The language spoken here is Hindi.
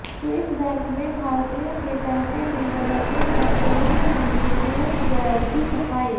स्विस बैंक में भारतीयों के पैसे में बढ़ोतरी पर केंद्रीय मंत्री पीयूष गोयल की सफाई